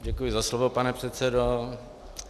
Děkuji za slovo, pane předsedo.